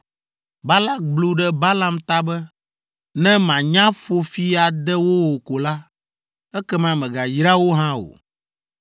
Balak blu ɖe Balaam ta be, “Ne mànya ƒo fi ade wo o ko la, ekema mègayra wo hã o!”